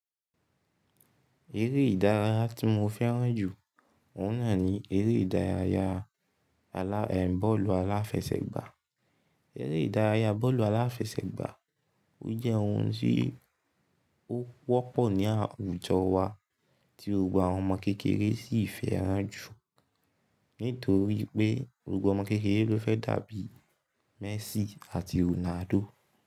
Eré ìdárayá tí mo fẹ́ràn jù, òun náà ni eré ìdárayá alá--, bọ́ọ̀lù aláfẹsẹ̀gbá. Eré ìdárayá bọ́ọ̀lù aláfẹsẹ̀gbá, ó jẹ́ ohun tí ó wọ́pọ̀ ní àwùjọ wa, tí gbogbo àwọn ọmọ kékeré sì fẹ́ràn jù. Nítorí pé gbogbo ọmọ kékeré ló fẹ́ dàbí Messi àti Ronaldo.